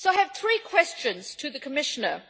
I have two questions to the Commissioner.